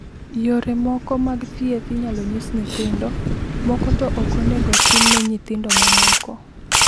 Yore moko mag thieth inyalo nyis nyithindo moko to ok onego otim ne nyithindo mamoko.